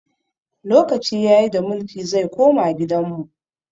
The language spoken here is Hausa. Lokaci ya yi da mulki zai koma gidan mu!